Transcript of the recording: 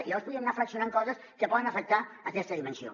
i llavors podríem anar fraccionant coses que poden afectar aquesta dimensió